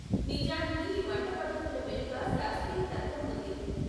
నిజానికి ఈ వంట పద్ధతుల వెనుక శాస్త్రీయ తర్కం ఉంది.